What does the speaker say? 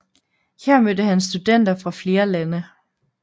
Her mødte han studenter fra flere lande